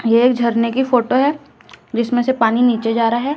ये एक झरने की फोटो है जिसमें से पानी नीचे जा रहा है।